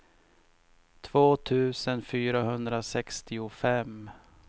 två tusen fyrahundrasextiofem